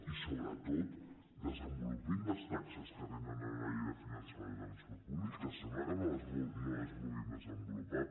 i sobretot desenvolupin les taxes que hi ha en la llei de finançament del transport públic que sembla que no les vulguin desenvolupar